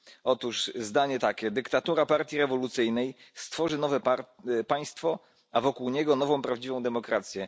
Otóż zdanie takie dyktatura partii rewolucyjnej stworzy nowe państwo, a wokół niego nową prawdziwą demokrację.